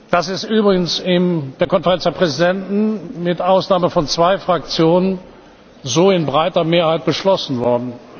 Das ist übrigens in der Konferenz der Präsidenten mit Ausnahme von zwei Fraktionen so in breiter Mehrheit beschlossen worden.